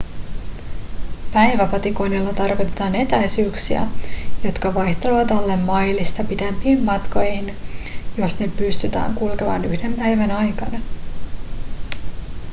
päiväpatikoinnilla tarkoitetaan etäisyyksiä jotka vaihtelevat alle mailista pidempiin matkoihin jos ne pystytään kulkemaan yhden päivän aikana